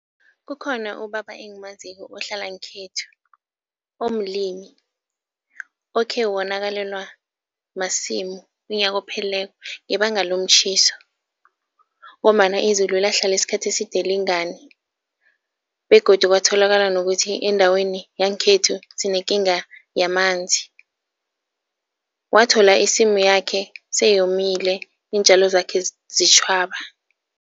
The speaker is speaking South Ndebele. Kukhona ubaba engimaziko ohlala ngekhethu omlimi, okhe wonakalelwa masimu unyaka ophelileko ngebanga lomtjhiso ngombana izulu lahlala isikhathi eside lingani begodu kwatholakala nokuthi endaweni yangekhethu sinekinga yamanzi. Wathola isimu yakhe seyomile iintjalo zakhe zitjhwaba.